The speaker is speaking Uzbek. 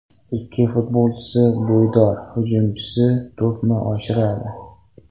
Ikki futbolchisi bo‘ydor hujumchiga to‘pni oshiradi.